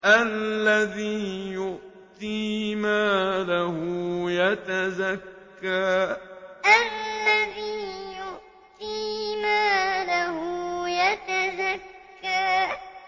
الَّذِي يُؤْتِي مَالَهُ يَتَزَكَّىٰ الَّذِي يُؤْتِي مَالَهُ يَتَزَكَّىٰ